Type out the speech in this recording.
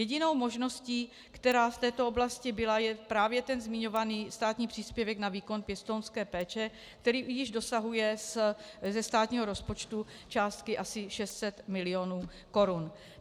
Jedinou možností, která v této oblasti byla, je právě ten zmiňovaný státní příspěvek na výkon pěstounské péče, který již dosahuje ze státního rozpočtu částky asi 600 mil. korun.